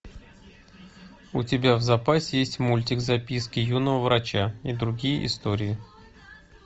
у тебя в запасе есть мультик записки юного врача и другие истории